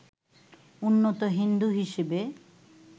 উন্নত হিন্দু হিসেবে